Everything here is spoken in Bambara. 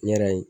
N yɛrɛ ye